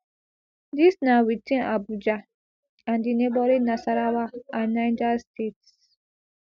dis na within abuja and di neighbouring nasarawa and niger states